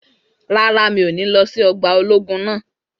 Rárá, mi ò ní lọ sí ọgbà ológun náà